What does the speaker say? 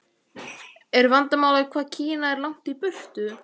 Er vandamálið hvað Kína er langt í burtu?